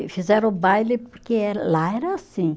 E fizeram o baile porque eh, lá era assim.